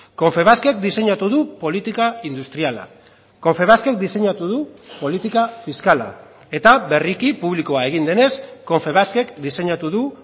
confebaskek diseinatu du politika industriala confebaskek diseinatu du politika fiskala eta berriki publikoa egin denez confebaskek diseinatu du